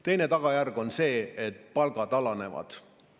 Teine tagajärg on see, et palgad alanevad.